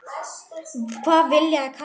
Hvað viljiði kalla mig?